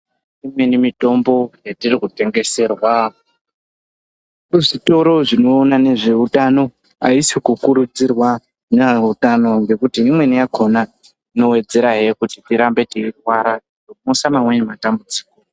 Imweni mitombo yetiri kutengeserwa muzvitoro zvinoona ngezveutano aisi kukurudzirwa neye utano ngekuti imweni yakhona yowedzerahe kuti tirambe teirwara kuuyisa mamweni matambudziko.